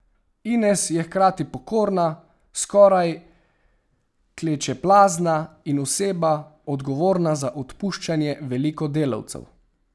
Ines je hkrati pokorna, skoraj klečeplazna in oseba, odgovorna za odpuščanje veliko delavcev.